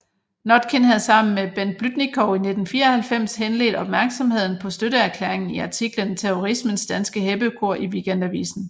Notkin havde sammen med Bent Blüdnikow i 1994 henledt opmærksomheden på støtteerklæringen i artiklen Terrorismens danske heppekor i Weekendavisen